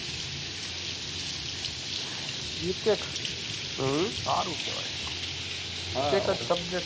bitec એ સારું કહેવાય એક જ subject